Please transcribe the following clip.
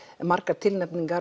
margar tilnefningar